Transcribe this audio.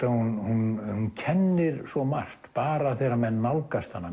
hún kennir svo margt bara þegar menn nálgast hana